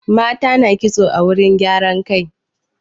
Mata na ƙitso a wurin gyaran kai.